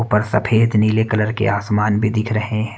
ऊपर सफेद नीले कलर के आसमान भी दिख रहे --